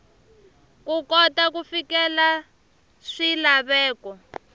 ku kota ku fikelela swilaveko